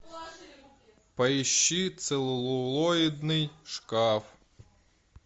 поищи целлулоидный шкаф